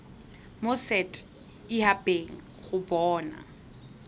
mo set habeng go bona